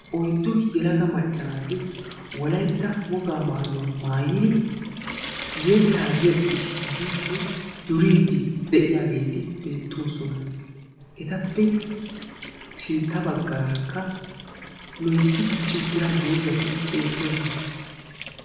Oyddu yelaga macca naati wolaytta wogaa maayuwa maayiri yettaa yexxishiiddinne duriiddi de'iyageeti beettoosona. Etappe sin sintta baggaarakka loytti dicci uttida dozati beettoosona.